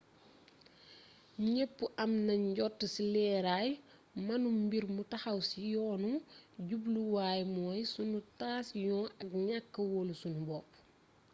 ñépp a mën jot ci leeraay mennum mbir mu taxaw ci yoonu jubluwaay mooy sunu taasiyoŋ ak ñakka woolu sunu bopp